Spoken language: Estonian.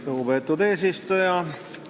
Lugupeetud eesistuja!